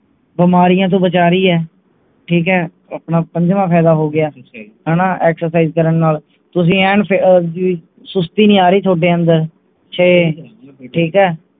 ਬਿਮਾਰੀਆਂ ਤੋਂ ਬਚਾ ਰਹਿ ਹੈ ਠੀਕ ਹੈ ਆਪਣਾ ਪੰਜਵਾਂ ਫ਼ੈਇਦਾ ਹੋ ਗਿਆ ਹਣਾ excercise ਕਰਨ ਨਾਲ ਤੁਸੀਂ ਐਨ ਵੀ ਸੁਸਤੀ ਨਹੀਂ ਆ ਰਹੀ ਥੋਡੇ ਅੰਦਰ ਛੇ ਠੀਕ ਹੈ